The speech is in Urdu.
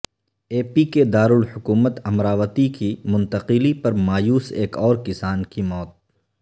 اے پی کے دارالحکومت امراوتی کی منتقلی پر مایوس ایک اور کسان کی موت